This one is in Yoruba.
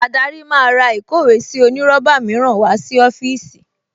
Adarí máa ra ìkówèésí onírọ́bà mìíràn wá sí ọ́fíìsì